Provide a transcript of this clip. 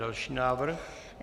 Další návrh.